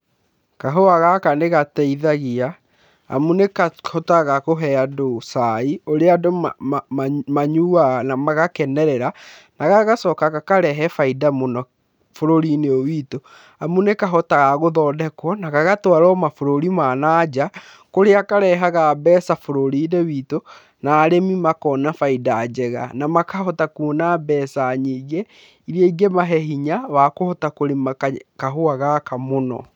Kahũa gaka nĩgateithagia amu nĩkahotaga kũhe andũ cai ũrĩa andũ mayuaga na magakenerera. Na gagacoka gakarehe bainda mũno bũrũri-inĩ ũyũ witũ amu nĩkahotaga gũthondekwo na gagatwarwo mabũrũri ma nanja, kũrĩa karehaga mbeca bũrũrinĩ witũ. Na arĩmi makona baida njega, na makahota kuona mbeca nyingĩ iria ingĩ mahe hinya wa kũhota kũrĩma kahũa gaka mũno.